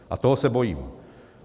A toho se bojím.